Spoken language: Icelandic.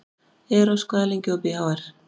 Eros, hvað er lengi opið í HR?